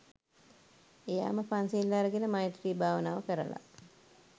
එයාම පන්සිල් අරගෙන මෛත්‍රී භාවනාව කරල